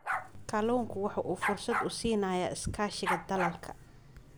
Kalluunku waxa uu fursad u siinayaa iskaashiga dalalka.